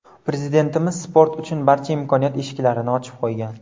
Prezidentimiz sport uchun barcha imkoniyat eshiklarini ochib qo‘ygan.